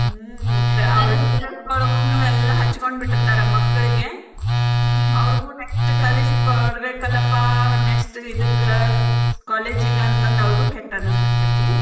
ಹ್ಮ್‌ ಎಲ್ಲಾ ಹಚ್ಕೊಂಡ್ ಬಿಟ್ಟಿರ್ತಾರ ಮಕ್ಕ್ಳಿಗೆ ಅವ್ರ್ಗು next ಕಳಿಸಿಕೊಡ್ಬೇಕಲ್ಲಪ್ಪಾ next ಇದಕ್ಕ್ college ಅಂತಂದ ಅವ್ರಿಗೂ ಕೆಟ್ಟ ಅನಿಸ್ತಿರ್ತೇತಿ.